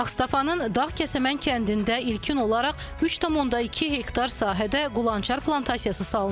Ağstafanın Dağkəsəmən kəndində ilkin olaraq 3,2 hektar sahədə qulançar plantasiyası salınıb.